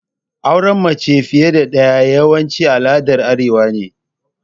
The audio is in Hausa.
Auren mace fiƴe da daƴa yawanci al'aɗar arewa ne.